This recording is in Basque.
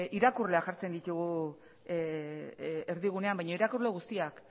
irakurleak jartzen ditugu erdigunean baino irakurle guztiak